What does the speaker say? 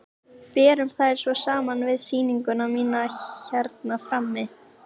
Berum þær svo saman við sýninguna mína hérna frammi.